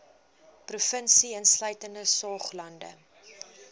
provinsie insluitende saoglande